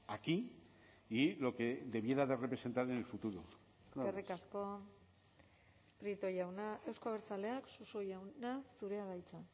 aquí y lo que debiera de representar en el futuro eskerrik asko prieto jauna euzko abertzaleak suso jauna zurea da hitza